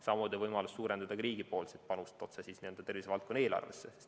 Samuti on võimalus suurendada riigi panust otse tervisevaldkonna eelarvesse.